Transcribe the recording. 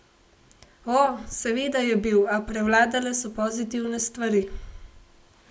O, seveda je bil, a prevladale so pozitivne stvari.